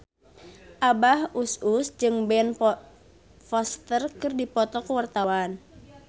Abah Us Us jeung Ben Foster keur dipoto ku wartawan